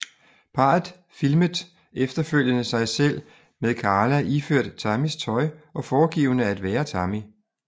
Parret filmet efterfølgende sig selv med Karla iført Tammys tøj og foregivende at være Tammy